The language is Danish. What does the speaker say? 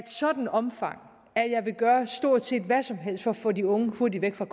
sådant omfang at jeg vil gøre stort set hvad som helst for at få de unge hurtigt væk fra